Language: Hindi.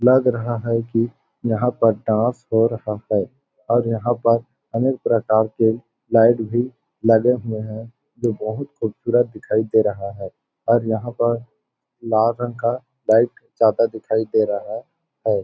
लग रहा है की यहाँ पर डांस हो रहा है और यहाँ पर अनेक प्रकार के लाइट भी लगे हुए है जो बहुत खुबसूरत दिखाई दे रहा है और यहाँ पर लाल रंग का लाइट ज्यादा दिखाई दे रहा है।